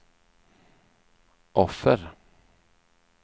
offer